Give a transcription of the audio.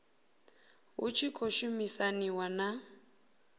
hu tshi khou shumisaniwa na